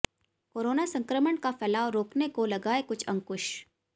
corona संक्रमण का फैलाव रोकने को लगाए कुछ अंकुश